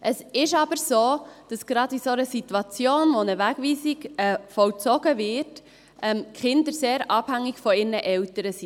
Es ist aber so, dass gerade in einer solchen Situation, wenn eine Wegweisung vollzogen wird, die Kinder sehr von ihren Eltern abhängig sind.